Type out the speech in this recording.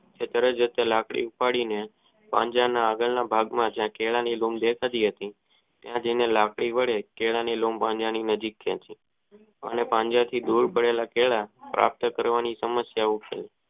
તે તરતજ લાકડી પડી ને પાંજરાના આગળ ના ભાગ માં કેળા ની જે લુમો પડી હતી તે જય લાકડી વડે કેળા ની લઉં આંબવાનું નજીક છે અને પાંજરાથી દૂર ભાળેલા કેળા પાર્પ્ત કરવાની સમસ્યા છે.